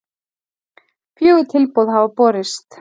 Fjögur tilboð hafa borist